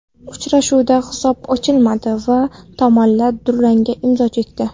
Uchrashuvda hisob ochilmadi va tomonlar durangga imzo chekdi.